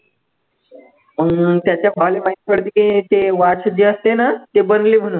हम्म त्याच्या भावले माहित पडते की ते watch जे असते ना ते बनले म्हणून